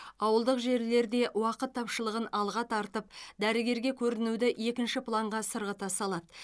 ауылдық жерлерде уақыт тапшылығын алға тартып дәрігерге көрінуді екінші планға сырғыта салады